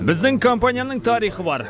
біздің компанияның тарихы бар